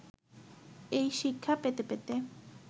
এই শিক্ষা পেতে পেতে